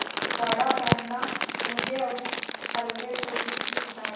गाढ़ा पहनना मुझे अब हल्वेपूरी की इच्छा है